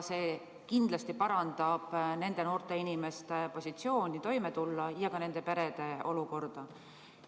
See kindlasti parandab nende noorte inimeste positsiooni, võimet toime tulla ja ka nende perede olukorda.